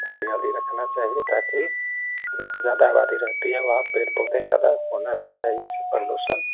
हरियाली रखना चाहिए ताकि जहां ज्यादा आबादी रहती है वहाँ पेड़-पौधा ज्यादा होना भी चाहिए इससे प्रदूषण --